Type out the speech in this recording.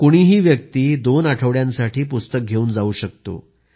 कुणीही व्यक्ति दोन आठवड्यांसाठी पुस्तक घेऊन जाऊ शकतो